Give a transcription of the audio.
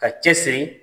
Ka cɛsiri